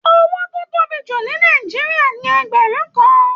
Owó tó tóbi jù ní Nàìjíríà ní ẹgbẹrun kàn.